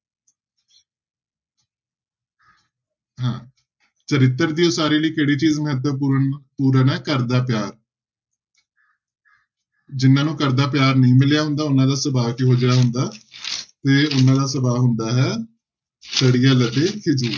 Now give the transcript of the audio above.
ਚਰਿੱਤਰ ਦੀ ਉਸਾਰੀ ਲਈ ਕਿਹੜੀ ਚੀਜ਼ ਮਹੱਤਵਪੂਰਨਪੂਰਨ ਪੂਰਨ ਹੈ ਘਰ ਦਾ ਪਿਆਰ ਜਿਹਨਾਂ ਨੂੰ ਘਰਦਾ ਪਿਆਰ ਨਹੀਂ ਮਿਲਿਆ ਹੁੰਦਾ, ਉਹਨਾਂ ਦਾ ਸੁਭਾਅ ਕਿਹੋ ਜਿਹਾ ਹੁੰਦਾ ਤੇ ਉਹਨਾਂ ਦਾ ਸੁਭਾਅ ਹੁੰਦਾ ਹੈ ਸੜੀਅਲ ਅਤੇ ਖਿਝੂ।